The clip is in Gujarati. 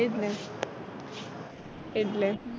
એ જ ને એટલે